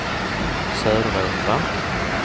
Söderåkra